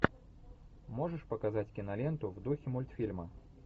можешь показать киноленту в духе мультфильма